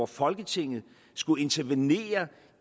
folketinget skulle intervenere